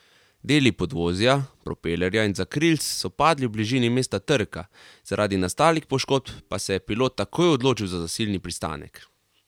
Deli podvozja, propelerja in zakrilc so padli v bližini mesta trka, zaradi nastalih poškodb pa se je pilot takoj odločil za zasilni pristanek.